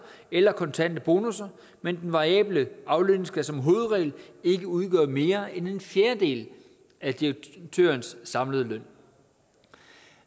eller kontante bonusser men den variable aflønning skal som hovedregel ikke udgøre mere end en fjerdedel af direktørens samlede løn